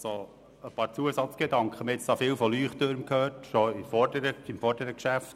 Wir haben viel über Leuchttürme gesprochen, bereits beim vorangehenden Geschäft.